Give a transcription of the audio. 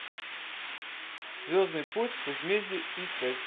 звездный путь возмездие искать